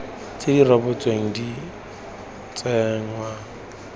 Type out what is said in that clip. tse di rebotsweng di tsenngwa